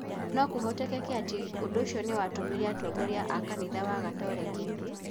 No kũhoteke atĩ ũndũ ũcio nĩ watũmire atongoria a Kanitha wa Gatoreki